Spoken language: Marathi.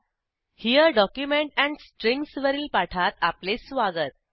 हेरे डॉक्युमेंट एंड स्ट्रिंग्ज वरील पाठात आपले स्वागत